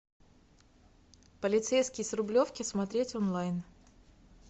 полицейский с рублевки смотреть онлайн